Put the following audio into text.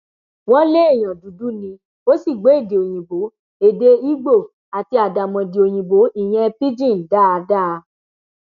wọn léèyàn dúdú ni ó sì gbọ èdè òyìnbó èdè igbó àti àdàmọdì òyìnbó ìyẹn pidgin dáadáa